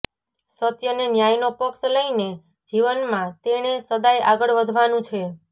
સત્ય ને ન્યાયનો પક્ષ લઈને જીવનમાં તેણે સદાય આગળ વધવાનું છે